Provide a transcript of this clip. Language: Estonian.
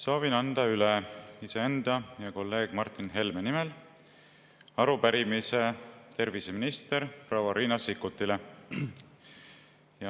Soovin anda üle iseenda ja kolleeg Martin Helme nimel arupärimise terviseminister proua Riina Sikkutile.